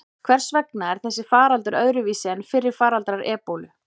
Hvers vegna er þessi faraldur öðruvísi en fyrri faraldrar ebólu?